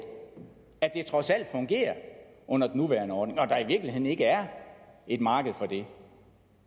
at det trods alt fungerer under den nuværende ordning og at der i virkeligheden ikke er et marked for det